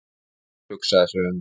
Óskar hugsaði sig um.